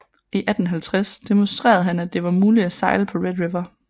I 1850 demonstrerede han at det var muligt at sejle på Red River